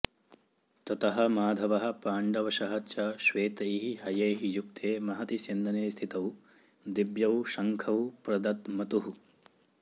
ततः माधवः पाण्डवशः च श्वेतैः हयैः युक्ते महति स्यन्दने स्थितौ दिव्यौ शङ्खौ प्रदध्मतुः